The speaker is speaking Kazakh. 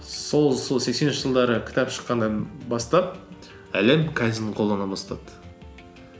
сол сексенінші жылдары кітап шыққаннан бастап әлем кайдзенді қолдана бастады